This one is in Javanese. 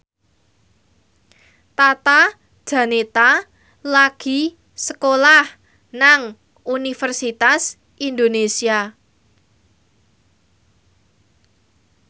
Tata Janeta lagi sekolah nang Universitas Indonesia